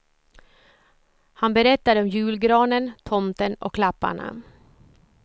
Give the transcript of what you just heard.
Han berättade om julgranen, tomten och klapparna.